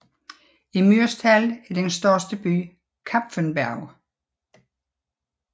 I Mürztal er den største by Kapfenberg